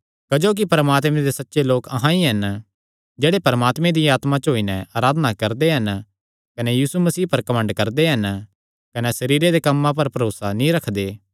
क्जोकि परमात्मे दे सच्चे लोक अहां ई हन जेह्ड़े परमात्मे दिया आत्मा च होई नैं अराधना करदे हन कने यीशु मसीह पर घमंड करदे हन कने सरीरे दे कम्मां पर भरोसा नीं रखदे